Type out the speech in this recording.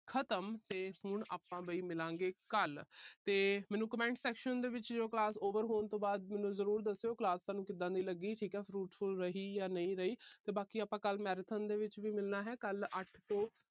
ਖਤਮ ਤੇ ਹੁਣ ਆਪਾ ਵੀ ਮਿਲਾਂਗੇ ਕੱਲ੍ਹ ਤੇ ਮੈਨੂੰ comment section ਦੇ ਵਿੱਚ class over ਤੋਂ ਬਾਅਦ ਮੈਨੂੰ ਜਰੂਰ ਦੱਸੀਓ class ਤੁਹਾਨੂੰ ਕਿਦਾਂ ਦੀ ਲੱਗੀ। ਠੀਕ ਹੈ। fruitful ਰਹੀ ਜਾਂ ਨਹੀਂ ਰਹੀ। ਕੱਲ੍ਹ marathon ਦੇ ਵਿੱਚ ਵੀ ਮਿਲਣਾ ਹੈ। ਕੱਲ੍ਹ ਅੱਠ ਤੋਂ